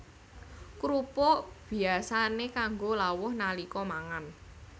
Krupuk biyasané kanggo lawuh nalika mangan